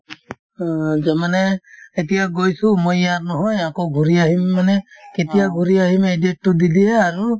অ, মানে এতিয়া গৈছো মই ইয়াৰ নহয় আকৌ ঘূৰি আহিম মানে কেতিয়া ঘূৰি আহিম সেই date তো দি দিয়ে আৰু